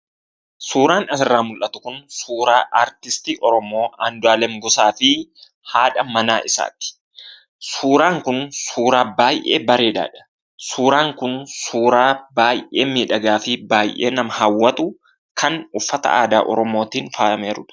Suuraan asirraa mul'atu kun suuraa artistii oromoo Andu'alam Gosaa fi haadha manaa isaati. Suuraan kun suuraa baay'ee bareedaadha. Suuraan kun suuraa baay'ee miidhagaa fi baay'ee nama hawwatu, kan uffata aadaa oromootiin faayamee jirudha.